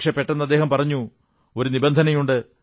പക്ഷേ പെട്ടെന്ന് അദ്ദേഹം പറഞ്ഞു പക്ഷേ ഒരു നിബന്ധനയുണ്ട്